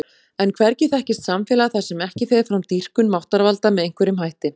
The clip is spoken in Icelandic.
En hvergi þekkist samfélag þar sem ekki fer fram dýrkun máttarvalda með einhverjum hætti.